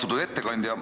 Austatud ettekandja!